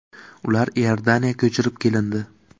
Ular Iordaniya ko‘chirib kelindi.